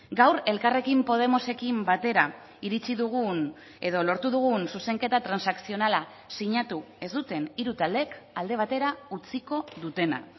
gaur elkarrekin podemosekin batera iritsi dugun edo lortu dugun zuzenketa transakzionala sinatu ez duten hiru taldeek alde batera utziko dutena